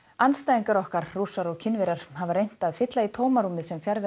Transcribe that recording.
andstæðingar okkar Rússar og Kínverjar hafa reynt að fylla í tómarúmið sem fjarvera